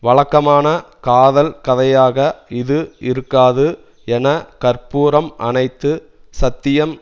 வழக்கமான காதல் கதையாக இது இருக்காது என கற்பூரம் அனைத்து சத்தியம்